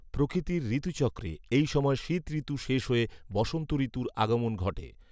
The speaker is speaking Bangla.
প্রকৃতির ঋতুচক্রে এই সময় শীতঋতু শেষ হয়ে বসন্ত ঋতুর আগমন ঘটে